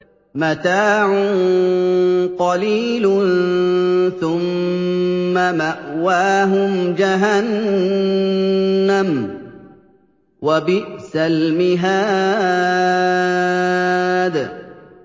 مَتَاعٌ قَلِيلٌ ثُمَّ مَأْوَاهُمْ جَهَنَّمُ ۚ وَبِئْسَ الْمِهَادُ